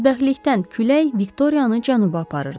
Bədbəxtlikdən külək Viktoriyanı cənuba aparırdı.